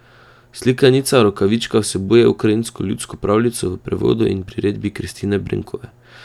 Slikanica Rokavička vsebuje ukrajinsko ljudsko pravljico v prevodu in priredbi Kristine Brenkove.